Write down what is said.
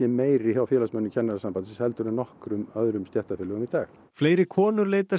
meiri hjá félagsmönnunum Kennarasambandsins heldur en nokkru öðru stéttarfélagi í dag fleiri konur leita